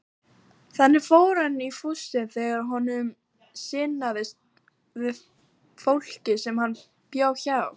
Þaðan fór hann í fússi þegar honum sinnaðist við fólkið sem hann bjó hjá.